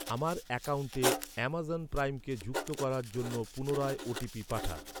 আমার অ্যাকাউন্টে অ্যাম্যাজন প্রাইমকে যুক্ত করার জন্য পুনরায় ও.টি.পি পাঠান।